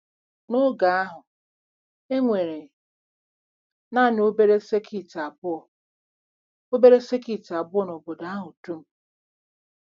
N’oge ahụ, e nwere nanị obere sekit abụọ obere sekit abụọ n’obodo ahụ dum.